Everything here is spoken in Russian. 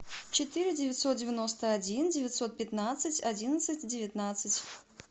четыре девятьсот девяносто один девятьсот пятнадцать одиннадцать девятнадцать